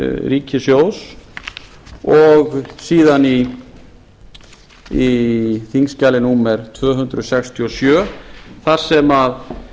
ríkissjóðs og síðan í þingskjali númer tvö hundruð sextíu og sjö þar sem